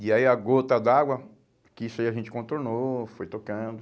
E aí a gota d'água, que isso aí a gente contornou, foi tocando.